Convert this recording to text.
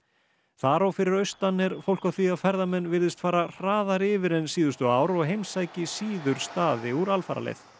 þar og fyrir austan er fólk á því að ferðamenn virðist fara hraðar yfir en síðustu ár og heimsæki síður staði úr alfaraleið